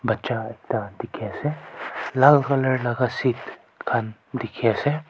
batcha ekta dekhi ase lal colour laga seat dekhi ase.